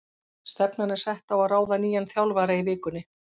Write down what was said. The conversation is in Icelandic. Stefnan er sett á að ráða nýjan þjálfara í vikunni.